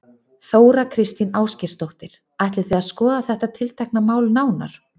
Þóra Kristín Ásgeirsdóttir: Ætlið þið að skoða þetta tiltekna mál nánar?